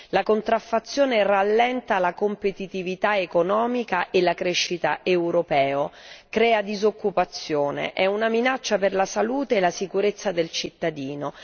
La contraffazione rallenta la competitività economica e la crescita europea, crea disoccupazione, è una minaccia per la salute e la sicurezza del cittadino.